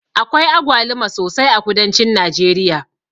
Akwai agwaluma sosai a kudancin najeriya.